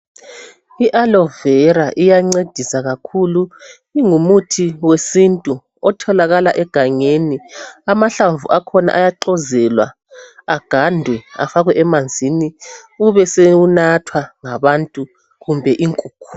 I alovera iyancedisa kakhulu ingumuthi wesintu otholakala egangeni amahlamvu akhona ayaxozelwa agandwe afakwe emanzini ubesewunathwa ngabantu kumbe inkukhu